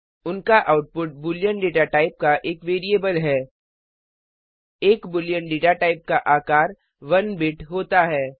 उनका output Boolean data type का एक वैरिएबल है एक बूलियन डेटा टाइप का आकार 1 बिट होता है